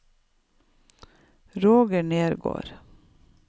Roger Nergård